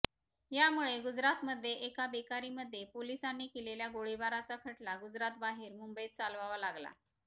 यामुळे गुजरातमध्ये एका बेकरीमध्ये पोलिसांनी केलेल्या गोळीबाराचा खटला गुजरातबाहेर मुंबईत चालवावा लागला